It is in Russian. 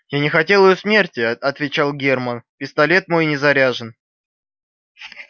я не хотел её смерти отвечал германн пистолет мой не заряжен